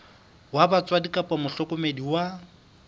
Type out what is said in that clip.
wa batswadi kapa mohlokomedi wa